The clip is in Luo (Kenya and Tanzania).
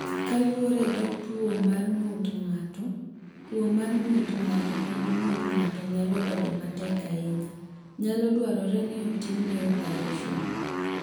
"Kaluwore gi kaka tuo mar ng’ut ng’ato (tuwo mar ng’ut ng’ato kod ng’ut ng’ato nyalo bedo matek ahinya), nyalo dwarore ni otimne opareson."